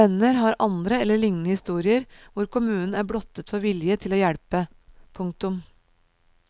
Venner har andre eller lignende historier hvor kommunen er blottet for vilje til å hjelpe. punktum